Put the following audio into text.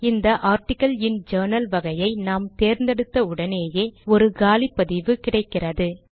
இந்த ஆர்டிக்கிள் இன் ஜர்னல் வகையை நாம் தேர்ந்தெடுத்த உடனேயே ஒரு காலி பதிவு கிடைக்கிறது